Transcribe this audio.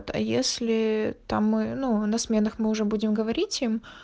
а если там и ну на сменах мы уже будем говорить им